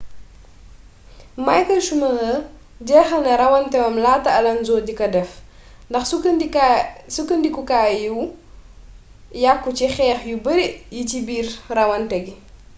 michael schumacher jeexal na rawanteem laata alonso di ko def ndax sukkandikukaay yu yàkku ci xeex yu bare yi ci biir rawante gi